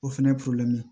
O fɛnɛ